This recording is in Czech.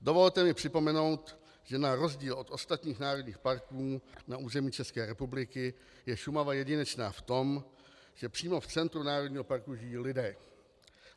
Dovolte mi připomenout, že na rozdíl od ostatních národních parků na území České republiky je Šumava jedinečná v tom, že přímo v centru národního parku žijí lidé.